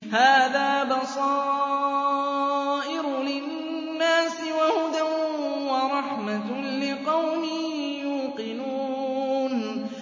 هَٰذَا بَصَائِرُ لِلنَّاسِ وَهُدًى وَرَحْمَةٌ لِّقَوْمٍ يُوقِنُونَ